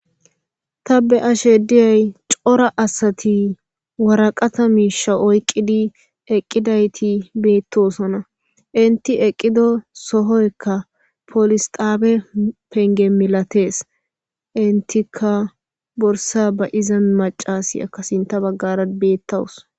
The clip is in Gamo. ta be ashe diyay cora asati waraqata misha oyqqidi eqqidayti beettosona inti eqqido sohoyka polis taabe penge milatees intika borsa ba iza macasi akkasinta baggara beettawus